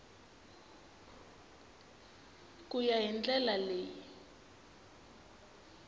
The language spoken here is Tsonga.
ku ya hi ndlela leyi